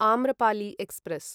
Amrapali express